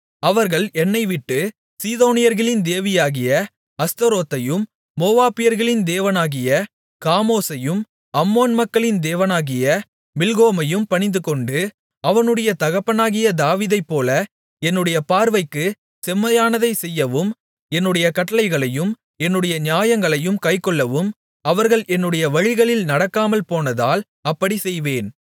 அவர்கள் என்னைவிட்டு சீதோனியர்களின் தேவியாகிய அஸ்தரோத்தையும் மோவாபியர்களின் தேவனாகிய காமோசையும் அம்மோன் மக்களின் தேவனாகிய மில்கோமையும் பணிந்துகொண்டு அவனுடைய தகப்பனாகிய தாவீதைப்போல என்னுடைய பார்வைக்குச் செம்மையானதைச் செய்யவும் என்னுடைய கட்டளைகளையும் என்னுடைய நியாயங்களையும் கைக்கொள்ளவும் அவர்கள் என்னுடைய வழிகளில் நடக்காமல்போனதால் அப்படிச் செய்வேன்